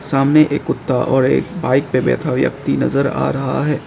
सामने एक कुत्ता और एक बाइक पे बैठा व्यक्ति नजर आ रहा है।